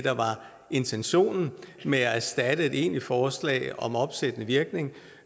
intentionen med at erstatte et egentligt forslag om opsættende virkning